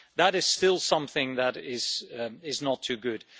That is still something that is not too good.